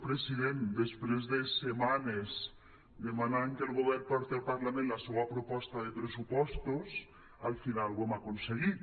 president després de setmanes demanant que el govern porti al parlament la seua proposta de pressupostos al final ho hem aconseguit